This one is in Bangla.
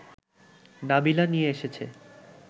নাবিলা নিয়ে এসেছে